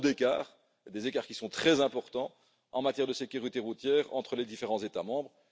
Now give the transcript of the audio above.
Il y a trop d'écarts, et des écarts qui sont très importants, en matière de sécurité routière entre les différents États membres.